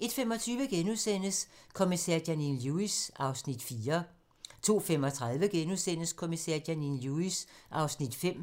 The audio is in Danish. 01:25: Kommissær Janine Lewis (4:19)* 02:35: Kommissær Janine Lewis (5:19)*